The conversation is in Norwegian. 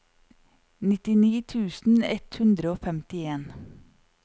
nittini tusen ett hundre og femtien